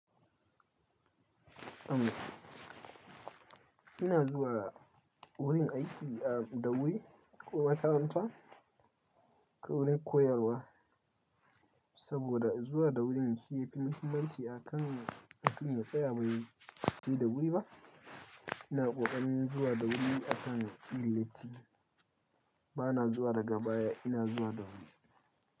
Ina zuwa wurin aiki a dawai ko makaranta ko wurin koyarwa saboda zuwa da wuri shi ya fi muhimmanci akan ɗakin ya tsaya bai yi dawayi ba. Ina ƙoƙarin zuwa da wuri akan ɗilekti. Ba na zuwa daga baya, ina zuwa da wuri.